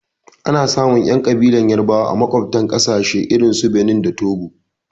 Anasamun ƴan ƙabilar yarabawa a maƙwaftan ƙasashe irinsu Benin da Togo.